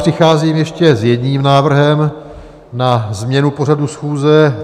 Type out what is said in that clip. Přicházím ještě s jedním návrhem na změnu pořadu schůze.